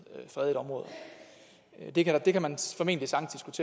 fredede områder det kan det kan man formentlig sagtens